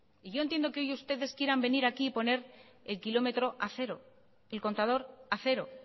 y yo entiendo que hoy ustedes quieran venir aquí y poner el kilómetro a cero el contador a cero